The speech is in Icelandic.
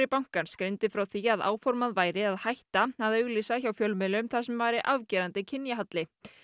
bankans greindi frá því að áformað væri að hætta að auglýsa hjá fjölmiðlum þar sem væri afgerandi kynjahalli